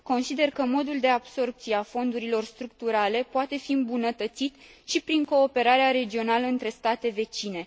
Consider că modul de absorbție a fondurilor structurale poate fi îmbunătățit și prin cooperarea regională între state vecine.